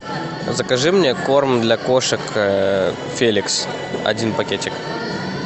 закажи мне корм для кошек феликс один пакетик